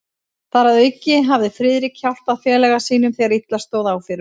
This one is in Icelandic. Þar að auki hafði Friðrik hjálpað félaga sínum, þegar illa stóð á fyrir honum.